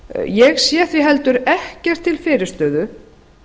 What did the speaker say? ég sé því heldur ekkert til fyrirstöðu